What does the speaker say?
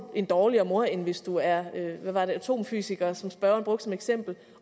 en dårligere mor end hvis du er atomfysiker som spørgeren brugte som eksempel